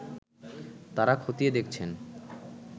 তারা খতিয়ে দেখছেন